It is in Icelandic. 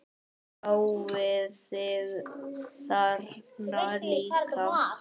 Sjáið þið þarna líka?